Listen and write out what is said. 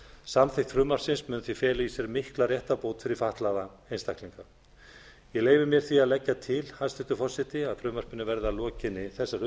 samþykkt frumvarpsins verður mun því fela í sér mikla réttarbót fyrir fatlaða einstaklinga ég leyfi mér því að leggja til hæstvirtur forseti að frumvarpinu verði að lokinni þessari